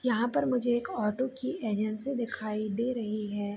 यहाँ पर मुझे एक ऑटो की एजेंसी दिखाई दे रही है।